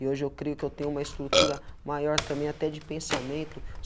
E hoje eu creio que eu tenho uma estrutura maior também, até de pensamento.